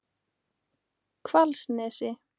Hvalsnesi